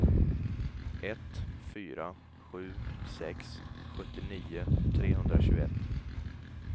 ett fyra sju sex sjuttionio trehundratjugoett